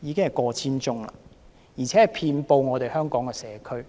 已經過千宗，更遍布香港的社區。